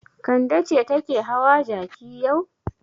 Kande ce take hawa jaki yau.